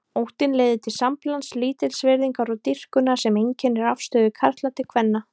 Óttinn leiðir til samblands lítilsvirðingar og dýrkunar sem einkennir afstöðu karla til kvenna.